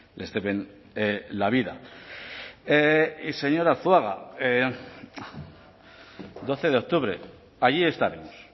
les deben la vida señor arzuaga doce de octubre allí estaremos